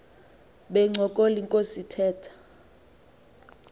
bencokola inkos ithetha